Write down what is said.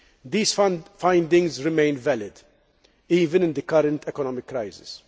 These findings remain valid, even in the current economic crisis.